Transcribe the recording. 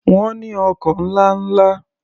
Wọ́n ní ọkọ̀ ńlá ńla.